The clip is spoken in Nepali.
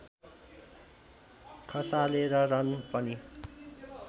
खसालेर रन पनि